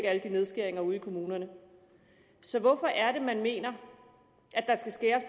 alle de nedskæringer ude i kommunerne så hvorfor er det man mener